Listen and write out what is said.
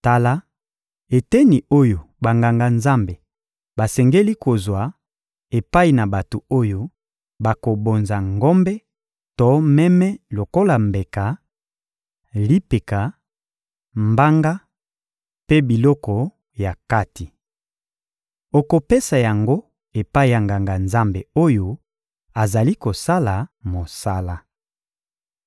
Tala eteni oyo Banganga-Nzambe basengeli kozwa epai na bato oyo bakobonza ngombe to meme lokola mbeka: lipeka, mbanga mpe biloko ya kati. Okopesa yango epai ya Nganga-Nzambe oyo azali kosala mosala.